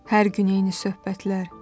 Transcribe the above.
Hər gün eyni söhbətlər.